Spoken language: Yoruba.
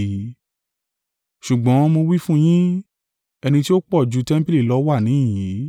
Ṣùgbọ́n mo wí fún yín, ẹni tí ó pọ̀ ju tẹmpili lọ wà níhìn-ín.